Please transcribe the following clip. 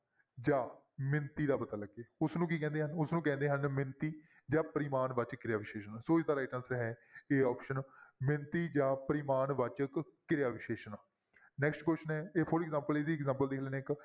ਜਾਂ ਮਿਣਤੀ ਦਾ ਪਤਾ ਲੱਗੇ ਉਸਨੂੰ ਕੀ ਕਹਿੰਦੇ ਹਨ, ਉਸਨੂੰ ਕਹਿੰਦੇ ਹਨ ਮਿਣਤੀ ਜਾਂ ਪਰਿਮਾਣ ਵਾਚਕ ਕਿਰਿਆ ਵਿਸ਼ੇਸ਼ਣ, ਸੋ ਇਸਦਾ right answer ਹੈ a option ਮਿਣਤੀ ਜਾਂ ਪਰਿਮਾਣ ਵਾਚਕ ਕਿਰਿਆ ਵਿਸ਼ੇਸ਼ਣ next question ਹੈ ਇਹ for example ਇਹਦੀ example ਦੇਖ ਲੈਂਦੇ ਹਾਂ ਇੱਕ।